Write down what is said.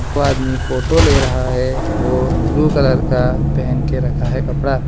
वो आदमी फोटो ले रहा है वो ब्लू कलर का पेहन के रखा है कपड़ा।